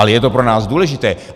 Ale je to pro nás důležité.